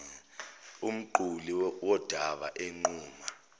umquli wodaba enquma